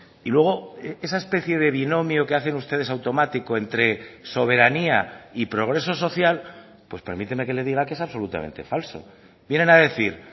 y luego esa especie de binomio que hacen ustedes automático entre soberanía y progreso social pues permíteme que le diga que es absolutamente falso vienen a decir